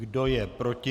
Kdo je proti?